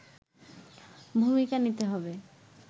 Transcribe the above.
ভূমিকা নিতে হবে